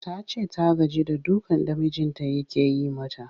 Ta ce ta gaji da dukan da mijinta yake mata